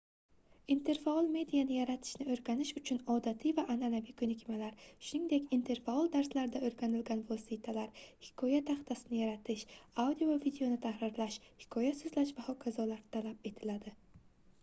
interfaol mediani yaratishni o'rganish uchun odatiy va an'anaviy ko'nikmalar shuningdek interfaol darslarda o'rganilgan vositalar hikoya taxtasini yaratish audio va videoni tahrirlash hikoya so'zlash va h.k. talab etiladi